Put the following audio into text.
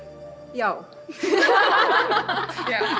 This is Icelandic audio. já það